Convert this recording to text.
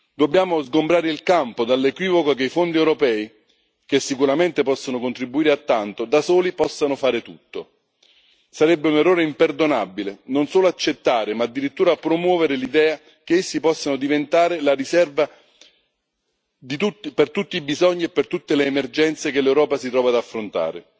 Dobbiamo sgombrare il campo dall'equivoco che i fondi europei, che sicuramente possono contribuire a tanto, da soli possano fare tutto. Sarebbe un errore imperdonabile, non solo accettare, ma addirittura promuovere l'idea che essi possano diventare la riserva per tutti i bisogni e per tutte le emergenze che l'Europa si trova ad affrontare.